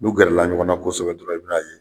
N'u gɛrɛla ɲɔgɔn na kɔsɛbɛ dɔrɔn i bɛ n'a ye